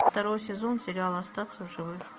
второй сезон сериала остаться в живых